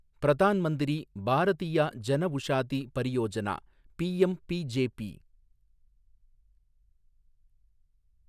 Pradhan Mantri Bharatiya Janaushadhi Pariyojana, PMBJP